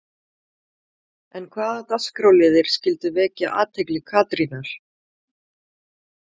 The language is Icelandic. En hvaða dagskrárliðir skyldu vekja athygli Katrínar?